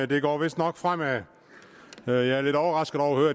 det går vistnok fremad jeg er lidt overrasket over